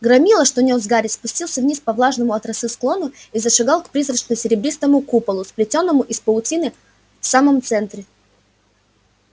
громила что нёс гарри спустился вниз по влажному от росы склону и зашагал к призрачно-серебристому куполу сплетённому из паутины в самом центре